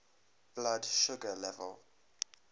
blood sugar level